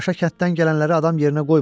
Paşa kənddən gələnləri adam yerinə qoymur.